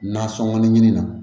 Nasɔngɔ ɲini na